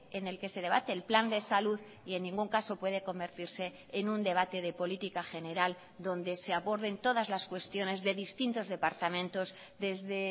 en el que se debate el plan de salud y en ningún caso puede convertirse en un debate de política general donde se aborden todas las cuestiones de distintos departamentos desde